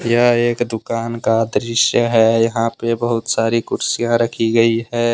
यह एक दुकान का दृश्य है यहां पे बहुत सारी कुर्सियां रखी गई है।